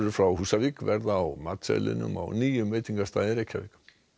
frá Húsavík verða á matseðlinum á nýjum veitingastað í Reykjavík